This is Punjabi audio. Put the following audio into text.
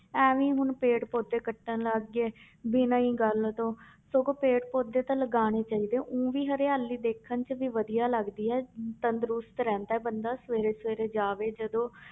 ਇਵੇਂ ਹੀ ਹੁਣ ਪੇੜ ਪੌਦੇ ਕੱਟਣ ਲੱਗ ਗਏ ਬਿਨਾਂ ਹੀ ਗੱਲ ਤੋਂ ਸਗੋਂ ਪੇੜ ਪੌਦੇ ਤਾਂ ਲਗਾਉਣੇ ਚਾਹੀਦੇ ਆ ਊਂ ਵੀ ਹਰਿਆਲੀ ਦੇਖਣ 'ਚ ਵੀ ਵਧੀਆ ਲੱਗਦੀ ਹੈ ਤੰਦਰੁਸਤ ਰਹਿੰਦਾ ਹੈ ਬੰਦਾ ਸਵੇਰੇ ਸਵੇਰੇ ਜਾਵੇ ਜਦੋਂ